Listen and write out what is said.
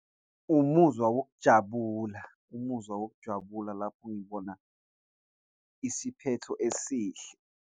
Umuzwa wokujabula, umuzwa wokujabula, lapho ngibona isiphetho esihle.